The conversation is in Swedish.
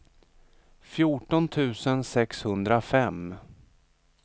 fjorton tusen sexhundrafem